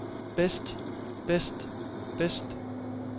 bedst bedst bedst